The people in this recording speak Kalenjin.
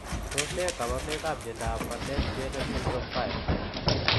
Tos ne kaborunoikap miondop Bardet Biedl syndrome 5?